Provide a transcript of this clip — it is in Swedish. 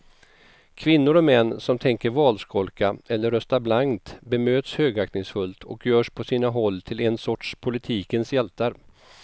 Kvinnor och män som tänker valskolka eller rösta blankt bemöts högaktningsfullt och görs på sina håll till en sorts politikens hjältar.